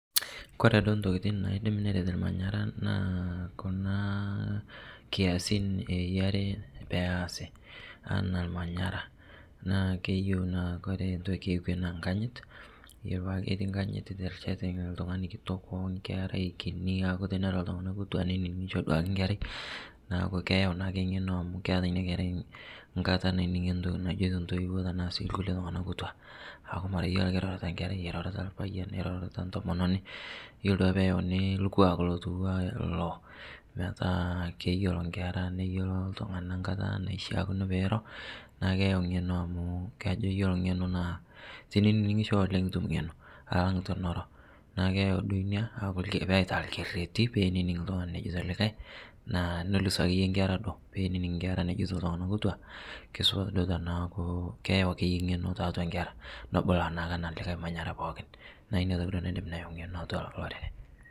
Kore duo ntokitin naidim neret lmanyara naa kuna kiasin eyarii peasii anaa lmanyara naa keyeu naa kore ntoki ekwe naa nkanyit keyari metaa keti nkanyit terichat ltung'ani kitok onkerai kinii aaku teneiroo duake ltung'ana kutua neining'isho duake nkerai naaaku keyau naa duake ng'eno amu keata inia kerai nkataa nainining'ie ntoki najoito ntoiwoo tanaa sii lkulie tung'ana kutua aaku mara akee kore eirorito nkerai eirorita lpayan eirorita ntomononii iyolo duake peyeuni lkuak lotuwana iloo metaa keyolo nkera neyeloo ltung'ana nkata naishiakino peiroo naa keyeu ng'eno amu kajo iyolo ng'eno naa tining'isho oleng' itum ng'eno alang' tiniro naaku keyau duo inia aaku aitaa lkereti peinining' ltung'ani nejeito likai naa noluz akeye nkera duo peinining' nkera nejoito ltung'ana kutua keisupat duo tanaaku keyau akeye ng'eno taatua nkera nobulu naake ana likai manyara pooki naa inia toki duo naidim ayau ng'eno atua iloo orere.